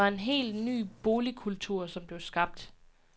Det var en hel ny boligkultur, som blev skabt.